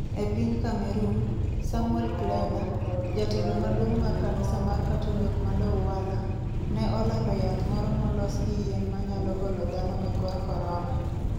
E piny Cameroon, Samuel Kleda, jatelo maduong' mar kanisa mar Katolik ma Douala, ne olando yath moro molos gi yien manyalo golo dhano e kor korona.